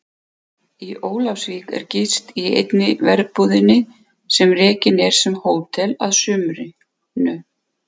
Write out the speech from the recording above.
Í Ólafsvík er gist í einni verbúðinni sem rekin er sem hótel að sumrinu.